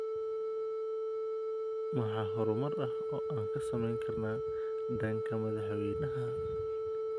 Maxaa horumar ah oo aan ka sameyn karnaa dhanka madaxweynaheena?